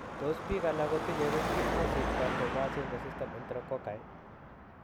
Tos biik alak kotinyee riskit kosich vancomycin resistant enterococci?